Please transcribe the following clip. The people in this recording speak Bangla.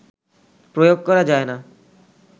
প্রয়োগ করা যায় না